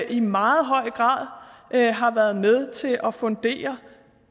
i meget høj grad har været med til at fundere